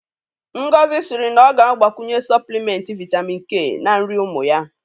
Ngozi sịrị na ọ ga-agbakwunye Sọplịmenti Vitamin K na nri ụmụ ya